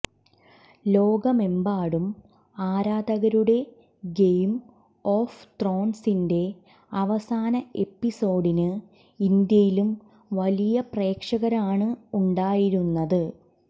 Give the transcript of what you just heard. ലോകമെമ്പാടും ആരാധകരുടെ game of ത്രോൺസിന്റെ അവസാന എപ്പിസോഡിന് ഇന്ത്യയിലും വലിയ പ്രേക്ഷകരാണ് ഉണ്ടായിരുന്നത്